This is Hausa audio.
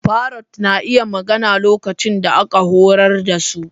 Parrots na iya magana lokacin da aka horar da su.